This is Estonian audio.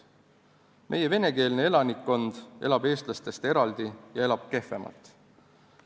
Meie venekeelne elanikkond elab eestlastest eraldi ja elab kehvemalt.